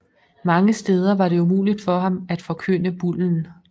Mange steder var det umuligt for ham at forkynde bullen